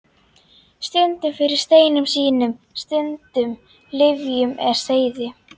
Stundum fyrir steinum sínum, stundum lyfjum eða seyði.